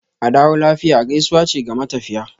"Adawo lafiya" gaisuwa ce ga matafiya.